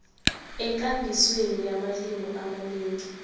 ekambisweni yamalimi amanengi